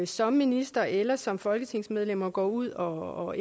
som minister eller som folketingsmedlem og går ud og